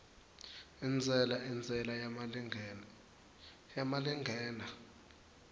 intsela intsela yemalingena